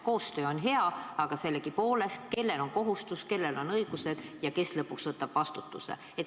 Koostöö on hea, aga sellegipoolest: kellel on kohustus, kellel on õigused ja kes lõpuks võtab vastutuse?